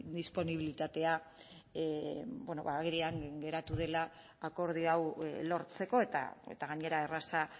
disponibilitatea agerian geratu dela akordio hau lortzeko eta gainera erraza